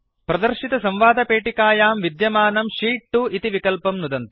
प्रदर्शितसंवादपेटिकायां विद्यमानं शीत् 2 इति विकल्पं नुदन्तु